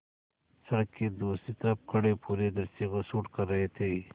सड़क के दूसरी तरफ़ खड़े पूरे दृश्य को शूट कर रहे थे